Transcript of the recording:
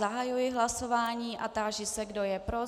Zahajuji hlasování a táži se, kdo je pro.